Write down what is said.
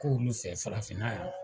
Ko olu fɛ farafin na yan.